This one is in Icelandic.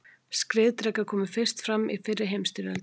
Skriðdrekar komu fyrst fram í fyrri heimsstyrjöldinni.